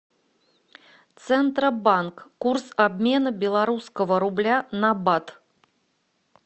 центробанк курс обмена белорусского рубля на бат